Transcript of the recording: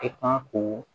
E kan k'o